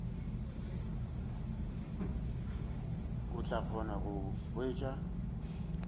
o tla kgona go hwetša